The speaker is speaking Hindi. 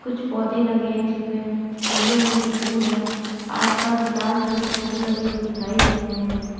कुछ पौधे लगे हैं जिनमें पीले रंग के फूल है आस पास लाल रंग के फूल लगे हुए दिखाई दे रहे है।